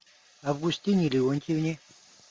августине леонтьевне